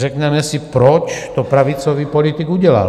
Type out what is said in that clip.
Řekneme si, proč to pravicový politik udělal?